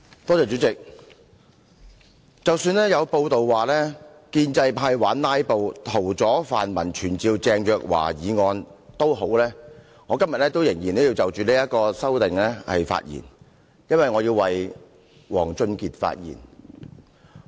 代理主席，即使有報道說建制派玩"拉布"，屠宰泛民傳召鄭若驊議案，我今天仍要就這項修正案發言，因為我要為王俊傑發言。